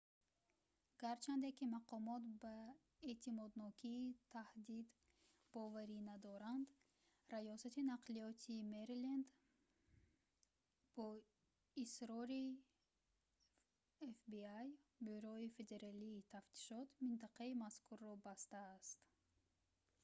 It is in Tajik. гарчанде ки мақомот ба эътимоднокии таҳдид боварӣ надоранд раёсати нақлиёти мэриленд бо исрори fbi бюрои федералии тафтишот минтақаи мазкурро бастааст